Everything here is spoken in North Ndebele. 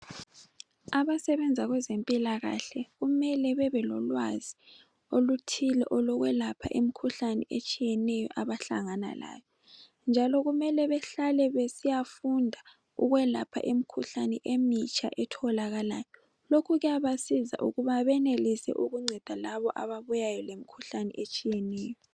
Abasebenza kwezempilakahle kumele bebelolwazi oluthile olokwelapha imkhuhlane etshiyeneyo abahlangana layo, njalo kumele behlale besiyafunda ukwelapha imkhuhlane emitsha etholakalayo. Lokhu kuyabasiza ukuba benelise ukunceda labo ababuyayo lemkhuhlane etshiyeneyo.